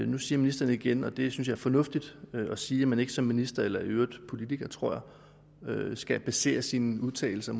nu siger ministeren igen og det synes jeg er fornuftigt at sige at man ikke som minister eller i øvrigt politiker tror jeg skal basere sine udtalelser